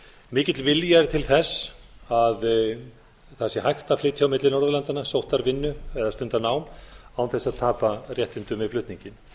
mikill vilji er til þess að það sé hægt að flytja á milli norðurlandanna sótt þar vinnu eða stunda nám án þess að tapa réttindum við flutninginn